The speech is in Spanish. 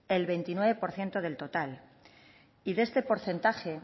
el veintinueve por ciento del total y de este porcentaje